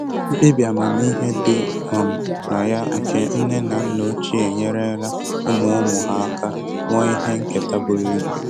Mkpebi amamihe dị um na ya nke nne na nna ochie enyerela ụmụ ụmụ ha aka wuo ihe nketa buru ibu.